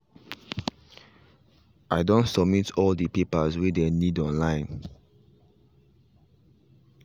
i done submit all the papers way dey need online